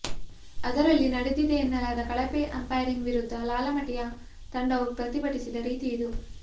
ಅದರಲ್ಲಿ ನಡೆ ದಿದೆಯೆನ್ನಲಾದ ಕಳಪೆ ಅಂಪೈರಿಂಗ್ ವಿರುದ್ಧ ಲಾಲಮಟಿಯಾ ತಂಡವು ಪ್ರತಿಭಟಿಸಿದ ರೀತಿ ಇದು